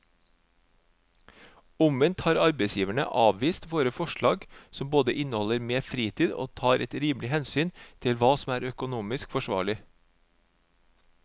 Omvendt har arbeidsgiverne avvist våre forslag som både inneholder mer fritid og tar et rimelig hensyn til hva som er økonomisk forsvarlig.